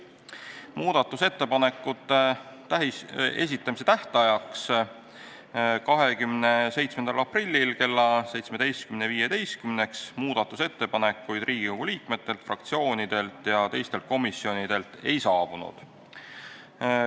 Muudatusettepanekute esitamise tähtajaks 27. aprillil kella 17.15-ks ettepanekuid Riigikogu liikmetelt, fraktsioonidelt ja teistelt komisjonidelt ei saabunud.